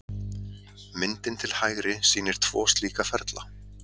Myndin til hægri sýnir tvo slíka ferla.